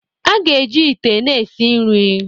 A ga-eji ite na-esi nri